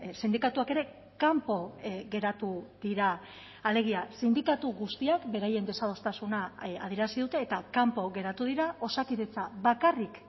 sindikatuak ere kanpo geratu dira alegia sindikatu guztiak beraien desadostasuna adierazi dute eta kanpo geratu dira osakidetza bakarrik